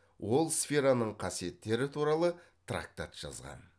ол сфераның қасиеттері туралы трактат жазған